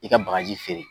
I ka bagaji feere